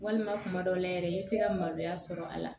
Walima kuma dɔw la yɛrɛ i bɛ se ka maloya sɔrɔ a la